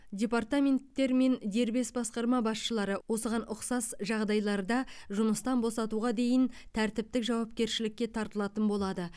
департаменттер мен дербес басқарма басшылары осыған ұқсас жағдайларда жұмыстан босатуға дейін тәртіптік жауапкершілікке тартылатын болады